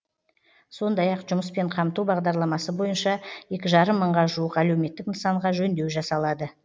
сондай ақ жұмыспен қамту бағдарламасы бойынша екі жарым мыңға жуық әлеуметтік нысанға жөндеу жасалады